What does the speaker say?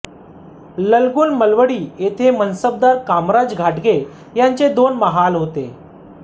ललगुण मलवडी येथे मनसबदार कामराज घाटगे यांचे दोन महाल होते